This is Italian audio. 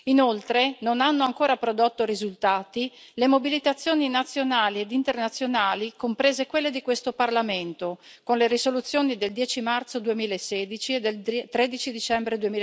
Inoltre, non hanno ancora prodotto risultati le mobilitazioni nazionali ed internazionali, comprese quelle di questo Parlamento, con le risoluzioni del 10 marzo 2016 e del 13 dicembre